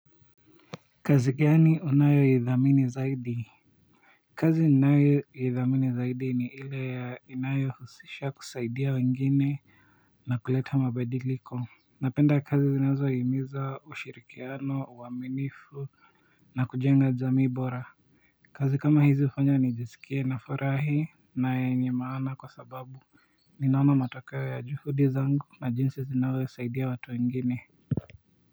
Kazi gani unayoithamini zaidi Kazi ninayoithamini zaidi ni ile inayohusisha kusaidia wengine na kuleta mabadiliko. Napenda kazi zinazohimiza ushirikiano, uaminifu na kujenga jamii bora kazi kama hizi hufanya nijiskie nafurahi na yenye maana kwa sababu ninaona matokeo ya juhudi zangu na jinsi zinavyosaidia watu wengine.